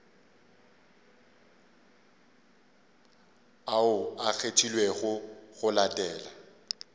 ao a kgethilwego go latela